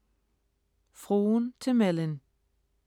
Fruen til Mellyn